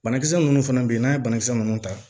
Banakisɛ minnu fana bɛ yen n'a ye banakisɛ ninnu ta